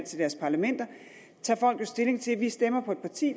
til deres parlamenter tager folk jo stilling til at de stemmer for et parti